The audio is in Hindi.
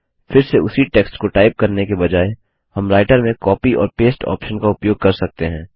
फिर से उसी टेक्स्ट को टाइप करने के बजाय हम राइटर में कॉपी और पस्ते ऑप्शन का उपयोग कर सकते हैं